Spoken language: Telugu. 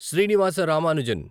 శ్రీనివాస రామానుజన్